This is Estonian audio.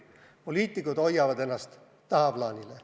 Poliitikud hoiavad ennast tagaplaanile.